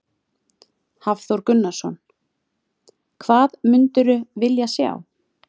Hafþór Gunnarsson: Hvað mundirðu vilja sjá?